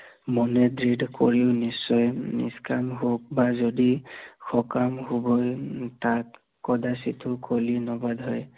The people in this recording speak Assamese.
মনে দৃঢ়িত কৰিও নিশ্চয়, নিস্কাম হওক বা যদি সকাম হবলে তাক কদাচিতো কলি